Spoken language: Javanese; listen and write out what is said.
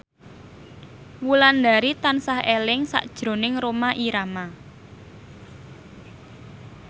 Wulandari tansah eling sakjroning Rhoma Irama